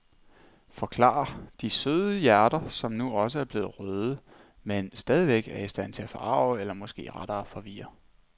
Forklarer de søde hjerter, som nu også er blevet røde, men stadigvæk er i stand til at forarge eller måske rettere forvirre.